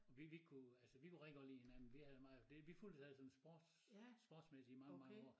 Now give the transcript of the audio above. Vi vi kunne altså vi kunne rigtig godt lide hinanden vi havde meget det vi fulgtes alt sådan sports sportsmæssigt i mange mange år